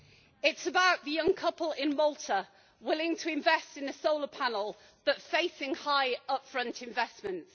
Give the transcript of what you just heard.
It is about the young couple in Malta, willing to invest in a solar panel, but facing high upfront investments.